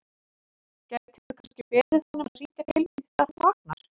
Gætirðu kannski beðið hann um að hringja til mín þegar hann vaknar?